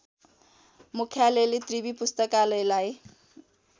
मुख्यालयले त्रिवि पुस्तकालयलाई